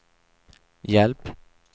hjälp